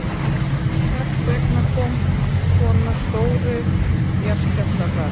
Hvers vegna koma svona stórir jarðskjálftar þar?